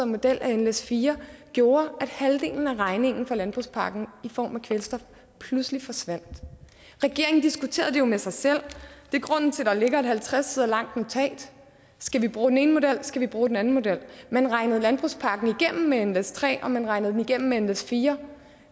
model af nles4 gjorde at halvdelen af regningen for landbrugspakken i form af kvælstof pludselig forsvandt regeringen diskuterede det jo med sig selv det er grunden til at der ligger et halvtreds sider langt notat skal vi bruge den ene model skal vi bruge den anden model man regnede landbrugspakken igennem med nles3 og man regnede den igennem med nles4